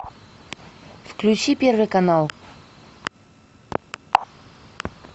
включи первый канал